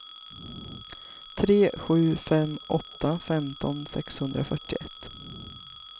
tre sju fem åtta femton sexhundrafyrtioett